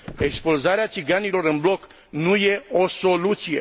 Expulzarea țiganilor în bloc nu e o soluție.